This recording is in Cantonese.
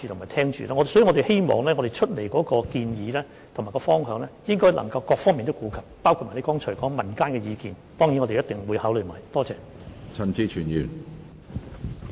因此，我們希望我們提出的建議和方向能夠顧及各方面，包括議員剛才提及的民間意見，這些我們必定會一併考慮。